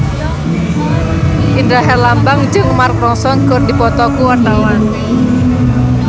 Indra Herlambang jeung Mark Ronson keur dipoto ku wartawan